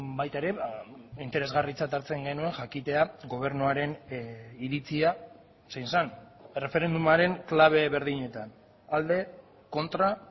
baita ere interesgarritzat hartzen genuen jakitea gobernuaren iritzia zein zen erreferendumaren klabe berdinetan alde kontra